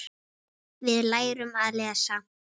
Við lærum að lesa.